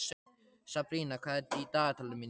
Sabrína, hvað er í dagatalinu mínu í dag?